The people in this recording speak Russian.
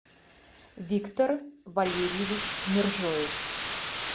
виктор валерьевич мержоев